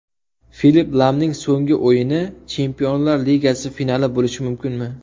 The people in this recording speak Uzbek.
Filipp Lamning so‘nggi o‘yini Chempionlar ligasi finali bo‘lishi mumkinmi?.